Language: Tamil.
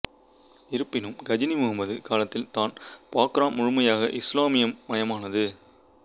இருப்பினும் கஜினி முகமது காலத்தில் தான் பாக்ராம் முழுமையாக இசுலாமிய மயமானது